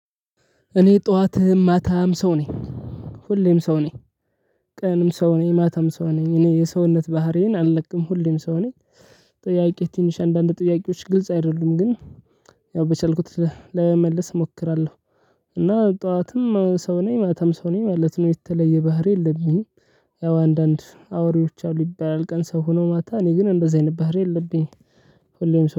እኔ ጠዋት ማታም ሰው ነኝ። ሁሌም ሰው ነኝ። ቀንም ሰው ነኝ ማታም ሰው ነኝ እኔ የሰውነት ባህሪዬን አለቅም ሁሌም ሰው ነኝ። ጥያቄ ትንሽ አንዳንድ ጥያቄዎች ግልጽ አይደሉም ግን ያው በቻልኩት ላይመለስ እሞክራለሁ። እና ጠዋትም ሰው ነኝ ማታም ሰው ነኝ ማለት ነው የተለየ ባህሪ የለብኝም። ያው አንዳንድ አውሬዎች አሉ ይባላል ቀን ሰው ሆኖ ማታ እኔ ግን እንደዚህ አይነት ባህሪ የለብኝም። ሁሌም ሰው